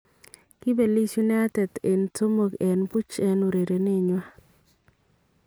Kibeliis United en 3-0 en urerenet nywan